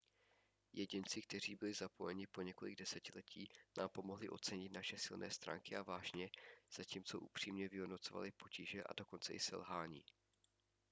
jedinci kteří byli zapojeni po několik desetiletí nám pomohli ocenit naše silné stránky a vášně zatímco upřímně vyhodnocovali potíže a dokonce i selhání